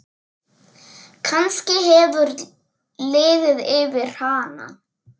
Kannski hefur liðið yfir hana?